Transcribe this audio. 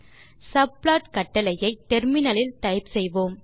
subplot கட்டளையை முனையத்தில் type செய்வோம்